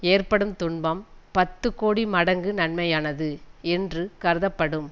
ஏற்படும் துன்பம் பத்துக்கோடி மடங்கு நன்மையானது என்று கருதப்படும்